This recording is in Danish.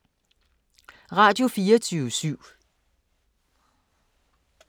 Radio24syv